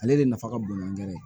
Ale de nafa ka bon an yɛrɛ ye